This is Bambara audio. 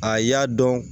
A y'a dɔn